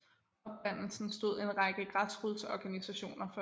Oprindelsen stod en række græsrodsorganisationer for